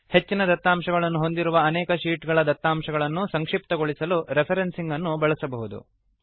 ಹೆಚ್ಚಿನ ದತ್ತಾಂಶಗಳನ್ನು ಹೊಂದಿರುವ ಅನೇಕ ಶೀಟ್ ಗಳ ದತ್ತಾಂಶಗಳನ್ನು ಸಂಕ್ಷಿಪ್ತಗೊಳಿಸಲು ರೆಫ್ರೆನ್ಸಿಂಗ್ ಅನ್ನು ಬಳಸಬಹುದು